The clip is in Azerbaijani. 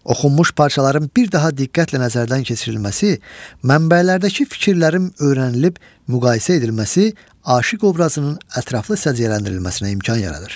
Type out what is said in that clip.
Oxunmuş parçaların bir daha diqqətlə nəzərdən keçirilməsi, mənbələrdəki fikirlərin öyrənilib müqayisə edilməsi aşiq obrazının ətraflı səciyyələndirilməsinə imkan yaradır.